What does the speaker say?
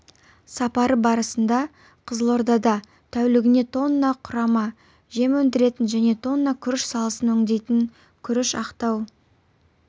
сапары барысында қызылордада тәулігіне тонна құрама жем өндіретін және тонна күріш салысын өңдейтін күріш ақтау